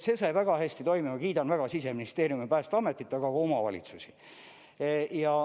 See sai väga hästi toimima, kiidan väga Siseministeeriumi, Päästeametit, aga ka omavalitsusi.